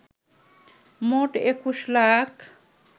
মোট ২১ লাখ